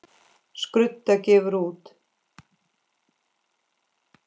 Skrudda gefur út.